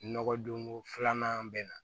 Nɔgɔ don ko filanan bɛ na